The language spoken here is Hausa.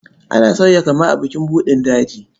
Ana sauya kama a bukin buɗin daji.